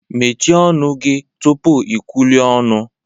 Mechie ọnụ gị tupu ikwulue ọnụ!